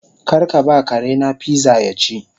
Karkaba karena pizza yaci